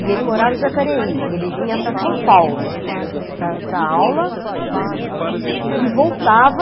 E ele morava em Jacareí, ele vinha para São Paulo para para a aula e voltava.